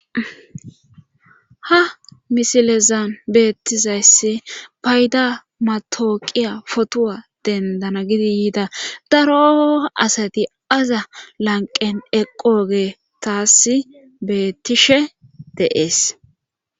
ha misilezan beettizayssi payda matooqiya potuwa dendana gidi yiida daro asati aza lanqen eqoogey taas beettishe de'ees